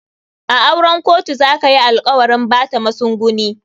A auren kotu za kayi alkawarin Bata masunguni.